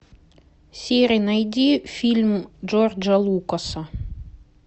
сири найди фильм джорджа лукаса